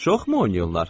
Çoxmu oynayırlar?